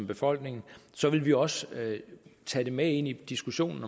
befolkningen så vil vi også tage det med ind i diskussionen